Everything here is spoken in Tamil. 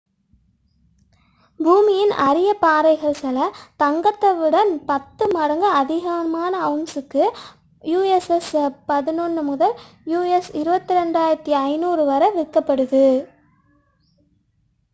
பூமியின் அரிய பாறைகள் சில தங்கத்தை விட 10 மடங்கு அதிகமான அவுன்சிற்கு us$11.000 முதல் us$22,500 வரை விற்கப்படுகின்றன